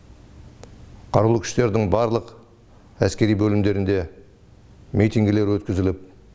қарулы күштердің барлық әскери бөлімдерінде митингілер өткізіліп